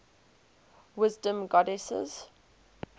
wisdom goddesses